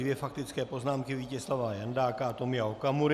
Dvě faktické poznámky - Vítězslava Jandáka a Tomia Okamury.